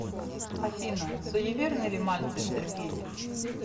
афина суеверный ли мальцев сергей